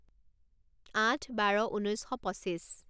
আঠ বাৰ ঊনৈছ শ পঁচিছ